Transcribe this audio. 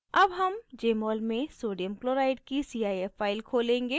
अब हम jmol में sodium chloride की cif फाइल खोलेंगे